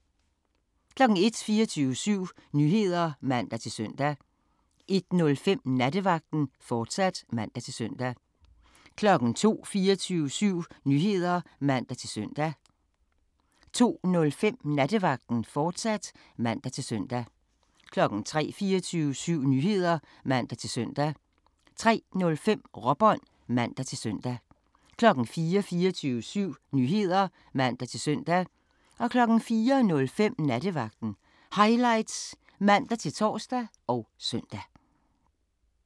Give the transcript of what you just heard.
01:00: 24syv Nyheder (man-søn) 01:05: Nattevagten, fortsat (man-søn) 02:00: 24syv Nyheder (man-søn) 02:05: Nattevagten, fortsat (man-søn) 03:00: 24syv Nyheder (man-søn) 03:05: Råbånd (man-søn) 04:00: 24syv Nyheder (man-søn) 04:05: Nattevagten Highlights (man-tor og søn)